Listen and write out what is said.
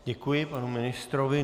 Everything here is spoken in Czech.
Děkuji panu ministrovi.